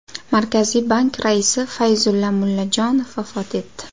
Markaziy bank raisi Fayzulla Mullajonov vafot etdi .